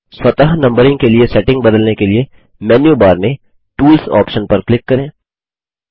स्वतः नम्बरिंग के लिए सेटिंग बदलने के लिए मेन्यू बार में टूल्स ऑप्शन पर क्लिक करें